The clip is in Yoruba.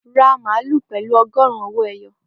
Ra màálù pẹ̀lú ọgọrun owó ẹyọ